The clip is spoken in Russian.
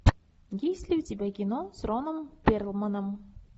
есть ли у тебя кино с роном перлманом